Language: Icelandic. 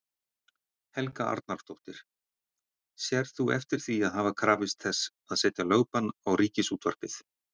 Helga Arnardóttir: Sérð þú eftir því að hafa krafist þess að setja lögbann á Ríkisútvarpið?